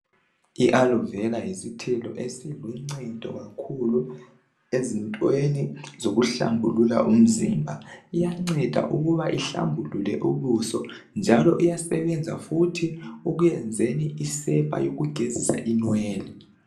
I alovera yisithelo esiluncedo kakhulu ezintweni zokuhlambulula umzimba iyanceda kakhulu ukuba ihlambulule ubuso njalo iyasebenza futhi ekuyenzeni isepa yokugezisa inwele